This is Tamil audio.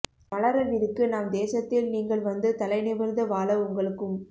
மலரவிருக்கு நம் தேசத்தில் நீங்கள் வந்து தலை நிமிர்ந்து வாழ உங்களுக்கும்